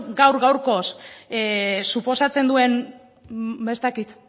gaur gaurkoz suposatzen duen ez dakit